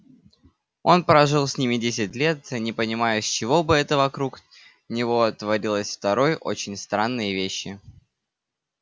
он прожил с ними десять лет не понимая с чего бы это вокруг него творилось второй очень странные вещи